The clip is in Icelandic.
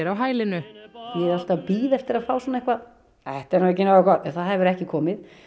hælinu ég er alltaf að bíða eftir að fá eitthvað þetta er nú ekki nógu gott en það hefur ekki komið